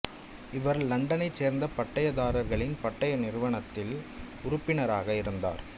இவர் இலண்டனைச் சேர்ந்த பட்டயதாரர்களின் பட்டய நிறுவனத்தில் உறுப்பினராக இருந்தார்